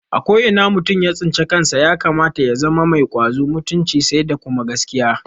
A ko ina mutum ya tsinci kansa ya kamata ya zama mai ƙwazo, mutunci sai da kuma gaskiya